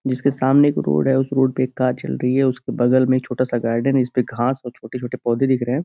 जिसके सामने एक रोड है उस रोड पे एक कार चल रही है उसके बगल में छोटा सा गार्डन है जिस पे (पर) घांस और छोटे-छोटे पौधे दिख रहे हैं।